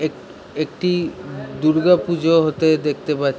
এক একটি দূর্গা পূজো হতে দেখতে পার--